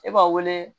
E b'a wele